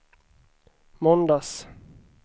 måndags